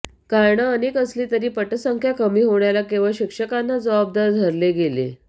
कारणं अनेक असली तरी पटसंख्या कमी होण्याला केवळ शिक्षकांना जबाबदार धरले गेले